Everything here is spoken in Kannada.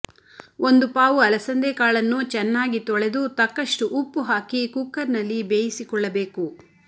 ಒಂದು ಪಾವು ಅಲಸಂದೆ ಕಾಳನ್ನು ಚೆನ್ನಾಗಿ ತೊಳೆದು ತಕ್ಕಷ್ಟುಉಪ್ಪು ಹಾಕಿ ಕುಕ್ಕರ್ನಲ್ಲಿ ಬೇಯಿಸಿಕೊಳ್ಳಬೇಕು